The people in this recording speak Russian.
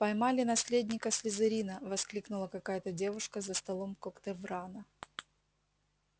поймали наследника слизерина воскликнула какая-то девушка за столом когтеврана